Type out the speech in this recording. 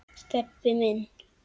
Stebbi minn.